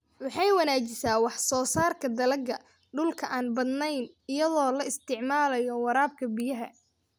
Waxay wanaajisaa wax soo saarka dalagga dhulka aan badnayn iyadoo la isticmaalayo waraabka biyaha.